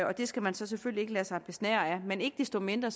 og det skal man selvfølgelig ikke lade sig besnære af men ikke desto mindre